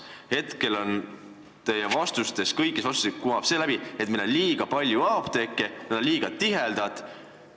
Hetkel kumab kõigist teie vastustest läbi see, et meil on liiga palju apteeke ja nad asuvad liiga tihedasti koos.